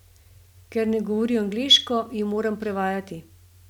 Ker ne govori angleško, ji moram prevajati.